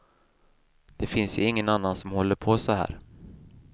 Det finns ju ingen annan som håller på så här.